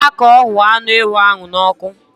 Gwa ya ka ọ huọ anụ ewu ahụ n'ọkụ.